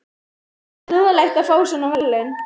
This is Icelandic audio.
Karen: Ekkert lúðalegt að fá svona verðlaun?